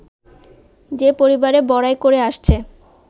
যে-পরিবারের বড়াই করে আসছে